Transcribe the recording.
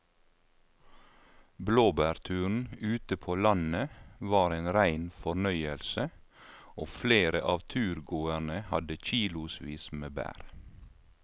Blåbærturen ute på landet var en rein fornøyelse og flere av turgåerene hadde kilosvis med bær.